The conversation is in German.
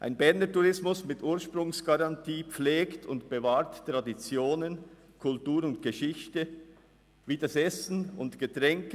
Ein Berner Tourismus mit Ursprungsgarantie pflegt und bewahrt Traditionen, Kultur und Geschichte, Essen und Trinken.